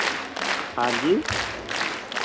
ਹਾਂ ਜੀ